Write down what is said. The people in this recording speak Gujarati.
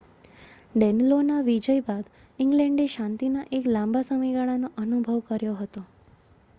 ડેનલોનાં વિજય બાદ ઇંગ્લેન્ડે શાંતિના એક લાંબા સમયગાળાનો અનુભવ કર્યો હતો